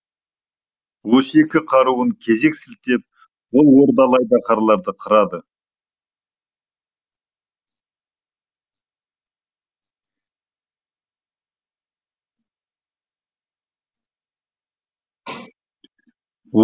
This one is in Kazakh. осы екі қаруын кезек сілтеп ол ордалы айдаһарларды қырады